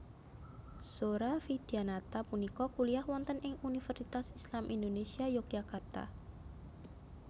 Zora Vidyanata punika kuliyah wonten ing Universitas Islam Indonesia Yogyakarta